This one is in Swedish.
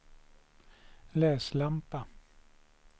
läslampa